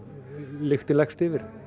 lyktin leggst yfir